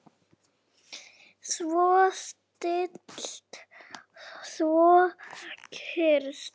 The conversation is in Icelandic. Svo stillt, svo kyrrt.